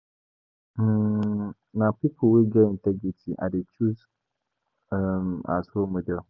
um Na pipo wey get integrity I dey choose um as role models.